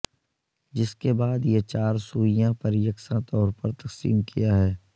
جس کے بعد یہ چار سوئیاں پر یکساں طور پر تقسیم کیا ہے